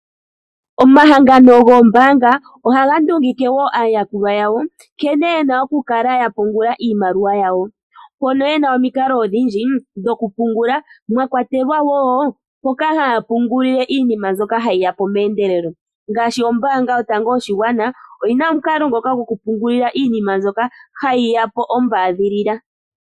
Omahangano goombanga ohaga ndungike wo aayakulwa yawo nkene ye na okukala ya pungula iimaliwa yawo mpono ye na omikalo odhindji dhokupungula mwa kwatelwa wo mpoka haya pungulile iinima mbyoka hayi yapo meendelelo ngaashi ombanga yotango yopashigwana oyi na omukalo ngoka gokupungulila iinima hayi ya po ombadhilila.